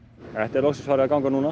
þetta er loksins farið að ganga núna